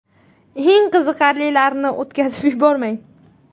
Eng qiziqarlilarini o‘tkazib yubormang!